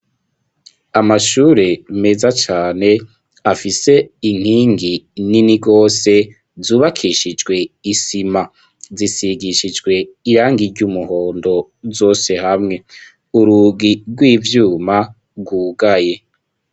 Amashure meza cane afise inkingi nini gose zubakishijwe isima zisigishijwe irangi ry'umuhondo zose hamwe urugi rw'ivyuma rwugaye.